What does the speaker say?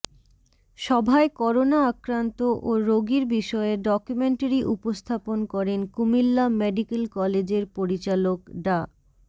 সভায় করোনা আক্রান্ত ও রোগীর বিষয়ে ডকুমেন্টারি উপস্থাপন করেন কুমিল্লা মেডিক্যাল কলেজের পরিচালক ডা